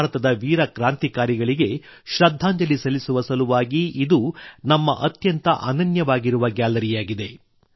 ಭಾರತದ ವೀರ ಕ್ರಾಂತಿಕಾರಿಗಳಿಗೆ ಶ್ರದ್ಧಾಂಜಲಿ ಸಲ್ಲಿಸುವ ಸಲುವಾಗಿ ಇದು ನಮ್ಮ ಅತ್ಯಂತ ಅನನ್ಯವಾಗಿರುವ ಗ್ಯಾಲರಿಯಾಗಿದೆ